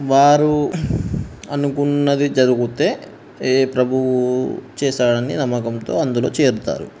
వారు అనుకున్నవి జరుగుతే ఏ ప్రభువు చేశాడానే నమ్మకం తో అందులో చేరుతారు.